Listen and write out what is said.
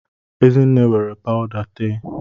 Ezinne were pawuda tee